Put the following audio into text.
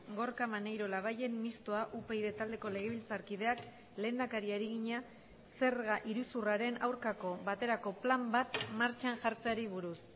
gorka maneiro labayen mistoa upyd taldeko legebiltzarkideak lehendakariari egina zerga iruzurraren aurkako baterako plan bat martxan jartzeari buruz